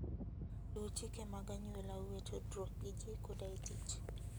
Luw chike mag anyuolau e tudruok gi ji koda e tich.